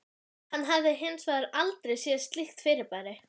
Hann hafði hins vegar aldrei séð slíkt fyrirbæri.